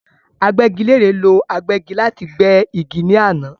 Agbẹ́gilére ló agbẹ́gi láti gbé igi ní àná